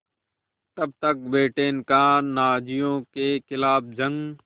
तब तक ब्रिटेन का नाज़ियों के ख़िलाफ़ जंग